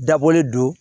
Dabɔlen don